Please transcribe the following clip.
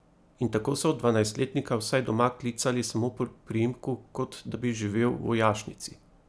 In tako so dvanajstletnika vsaj doma klicali samo po priimku, kot da bi živel v vojašnici.